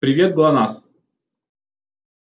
привет глонассс